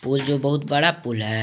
पुल जो बहुत बड़ा पुल है।